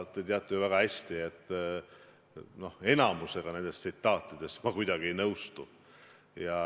Te teate ju väga hästi, et enamikuga nendest tsitaatidest ma kuidagi ei nõustu.